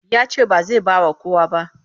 Ya ce ba zai ba wa kowa ba.